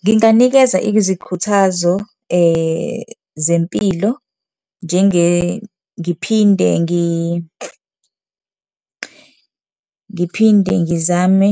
Nginganikeza izikhuthazo zempilo , ngiphinde ngiphinde ngizame